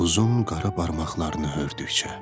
uzun qara barmaqlarını hördükcə.